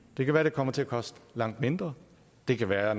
det kan være det kommer til at koste langt mindre det kan være